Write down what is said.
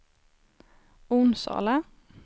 Onsala